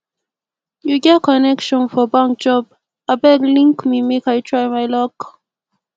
you get connection for bank job abeg link me make i try my luck